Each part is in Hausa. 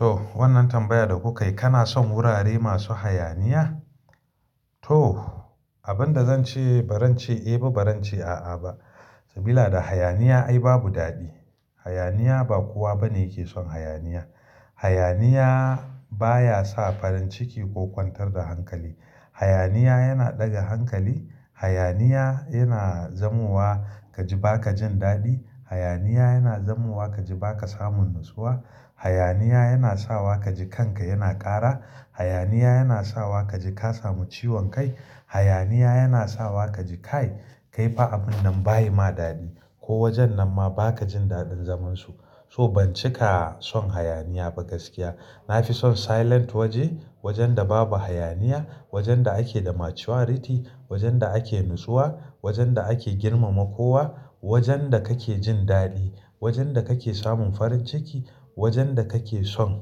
To wannan tambayar da kuka yi. Kana son wurare masu hayaniya? To, abin da zan ce ba zan ce eh ba, ba zan ce a'a ba. Sabila da hayaniya ai babu daɗi. Hayaniya ba kowa bane yake son hayaniya. Hayaniya baya sa farin ciki ko kwantar da hankali. Hayaniya yana ɗaga hankali. Hayaniya yana zamowa ka ji ba ka jin daɗi. Hayaniya yana zamowa ka ji ba ka samun natsuwa. Hayaniya yana sawa ka ji kanka yana ƙara. Hayaniya yana sawa ka ji ka samu ciwon kai. Hayaniya yana sawa ka ji kai, kai fa abun nan ba yi ma daɗi ko wajen nan ma ba ka jin daɗin zaman su. So ban cika son hayaniya ba gaskiya. Na fi son silent waje. Wajen da babu hayaniya, wajen da ake da maturity, wajen da ake natsuwa, wajen da ake girmama kowa, wajen da kake jin daɗi, wajen da kake samun farin ciki, wajen da kake son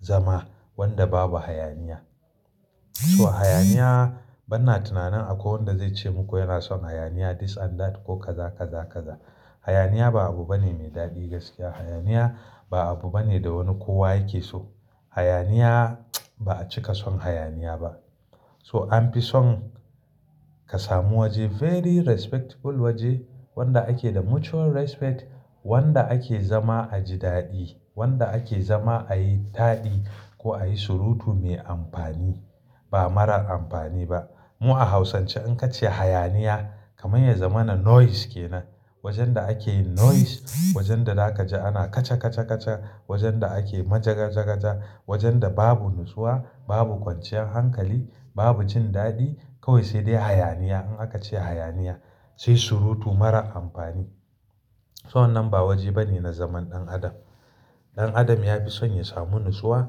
zama wanda babu hayaniya. So hayaniya bana tunanin akwai wanda zai ce muku yana son hayaniya, this and that ko kaza kaza kaza. Hayaniya ba abu bane mai daɗi gaskiya. Hayaniya ba abu bane da wani kowa yake so. Hayaniya ba a cika son hayaniya ba. So an fi son ka samu waje very respectable waje wanda ake da mutual respect, wanda ake zama a ji daɗi, wanda ake zama a yi taɗi ko a yi surutu mai amfani ba marar amfani ba. Mu a hausance in ka ce hayaniya kamar yanzamana noise ke nan. Wajen da akeyin noise, wajen da zaka ji ana kaca kaca kaca, wajen da ake majaga jagaja, wajen da babu natsuwa, babu kwanciyar hankali, babu jin daɗi kawai sai dai hayaniya. In aka ce hayaniya sai surutu marar amfani. Wannan ba waje bane na zaman ɗan adam. Ɗan adam ya fi son ya samu natsuwa.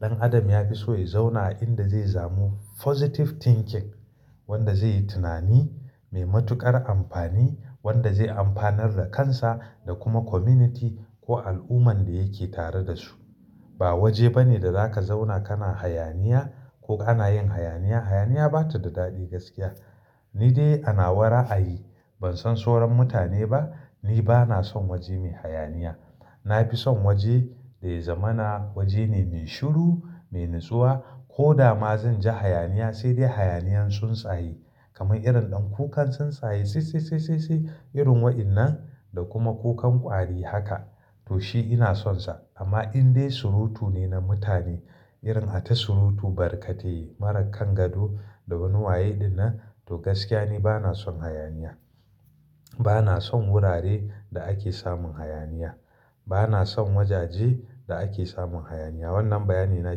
Ɗan adam ya fi so ya zauna a inda zai samu positive thinking wanda zai yi tunani mai matuƙar amfani, wanda zai amfanar da kansa da kuma community ko al'ummar da yake tare da su. Ba waje bane da zaka zauna kana hayaniya ko ana yin hayaniya. Hayaniya bata da daɗi gaskiya. Ni dai ana wa ra'ayi ban san soran mutane ba. Ni bana son waje mai hayaniya. Na fi son waje da ya zamana waje ne mai shiru, mai natsuwa. Ko da ma zan ji hayaniya sai dai hayaniyan tsuntsaye kamar irin ɗan kukan tsuntsaye sai sai sai sai irin waɗannan da kuma kukan ƙwari haka to shi ina sonsa. Amma in dai surutu ne na mutane irin ata surutu barkatai marakan gado da wani waye ɗinnan to gaskiya ni bana son hayaniya. Bana son wurare da ake samun hayaniya. Bana son wajaje da ake samun hayaniya. Wannan bayani na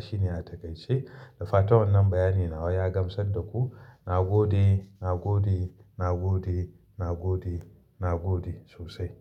shine na takaici. Da fatan wannan bayani nawaya gamsa da ku. Na gode, na gode, na gode, na gode, na gode sosai.